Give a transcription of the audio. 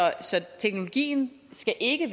teknologien skal ikke